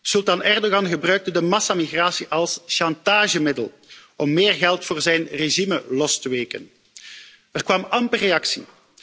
Sultan Erdogan gebruikte de massamigratie als chantagemiddel om meer geld voor zijn regime los te weken. Er kwam amper reactie.